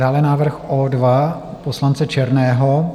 Dále návrh O2 poslance Černého.